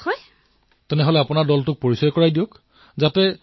প্ৰধানমন্ত্ৰীঃ তেন্তে আপুনি দলটোৰ সদস্যসকলৰ সৈতে পৰিচয় কৰাই দিলে ভাল হব